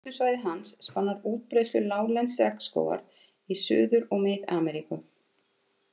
Útbreiðslusvæði hans spannar útbreiðslu láglendis regnskógar í Suður- og Mið-Ameríku.